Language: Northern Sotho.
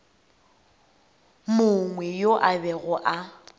mongwe yo a bego a